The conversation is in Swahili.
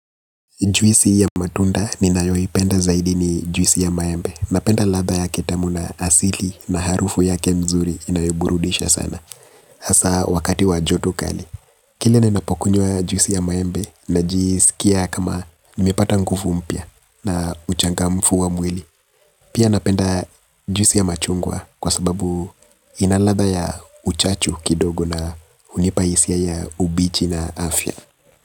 Juisi ya matunda ninayoipenda zaidi ni juisi ya maembe. Napenda ladha yake tamu na asili na harufu yake mzuri inayoburudisha sana. Hasa wakati wa joto kali. Kile ninapokunywa juisi ya maembe najisikia kama nimepata nguvu mpya na uchangamfu wa mwili. Pia napenda juisi ya machungwa kwa sababu ina ladha ya uchachu kidogo na hunipa hisia ya ubichi na afya.